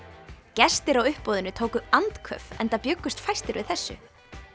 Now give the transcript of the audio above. gestir á uppboðinu tóku andköf enda bjuggust fæstir við þessu